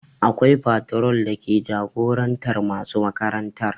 Akwai patron dake jagorantar masu makarantar